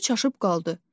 O da çaşıb qaldı.